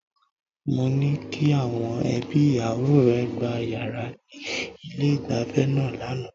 Mo ní kí àwọn ẹbí ìyàwó rẹ̀ gba yàrá ní ilé-ìgbafẹ́ náà lánàá.